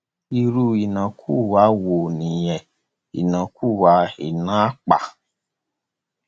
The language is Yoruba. irú ìnákúwá wo nìyẹn ìnákúwá ìná àpà